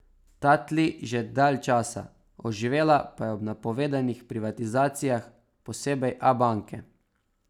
Ta tli že dalj časa, oživela pa je ob napovedanih privatizacijah, posebej Abanke.